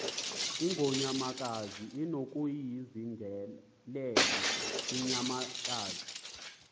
ingonyamakazi unokuyizingelela inyamakazi